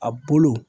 A bolo